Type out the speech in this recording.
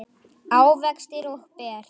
ávextir og ber